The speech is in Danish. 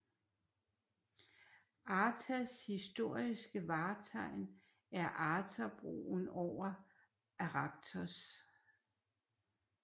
Artas historiske vartegn er Artabroen over Arachthos